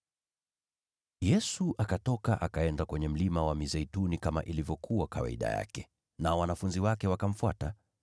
Yesu akatoka, akaenda kwenye Mlima wa Mizeituni kama ilivyokuwa kawaida yake, nao wanafunzi wake wakamfuata.